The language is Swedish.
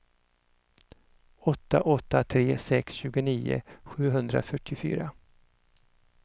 åtta åtta tre sex tjugonio sjuhundrafyrtiofyra